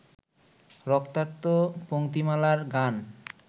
রক্তাক্ত পংক্তিমালার গান